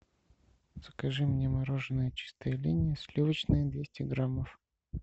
закажи мне мороженое чистая линия сливочное двести граммов